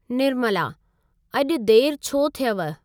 निर्मला: अॼु देरि छो थियव?